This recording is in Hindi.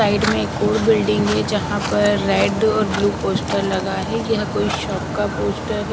साइड में एक और बिल्डिंग है जहाँ पर रेड और ब्लू पोस्टर लगा है यह कोई शॉप का पोस्टर है।